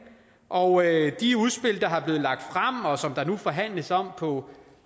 og de udspil der er blevet lagt frem og som der nu forhandles om på